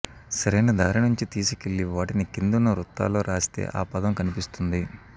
సరైన దారి నుంచి తీసుకెళ్లి వాటిని కిందున్న వృత్తాల్లో రాస్తే ఆ పదం కనిపిస్తుంది